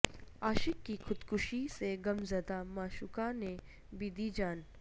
عاشق کی خودکشی سے غمزدہ معشوقہ نے بھی دی جان